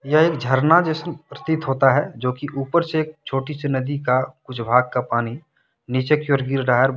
यह एक झरना जसन प्रतीत होता है जो कि ऊपर से एक छोटी सी नदी का कुछ भाग का पानी नीचे की ओर गिर रहा है।